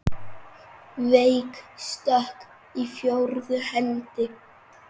Veik stökk í fjórðu hendi!